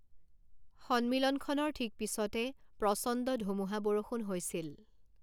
সন্মিলনখনৰ ঠিক পিছতে প্ৰচণ্ড ধুমুহা বৰষুণ হৈছিল।